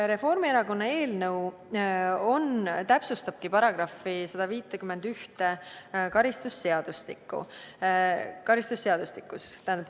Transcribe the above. Reformierakonna eelnõu täpsustabki karistusseadustiku § 151.